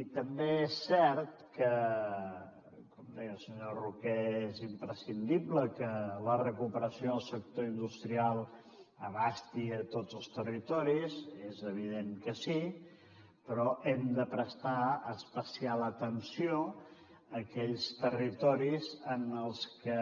i també és cert que com deia el senyor roquer és imprescindible que la recuperació del sector industrial comprengui tots els territoris és evident que sí però hem de prestar especial atenció a aquells territoris en els que